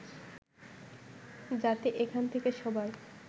যাতে এখান থেকে সবাই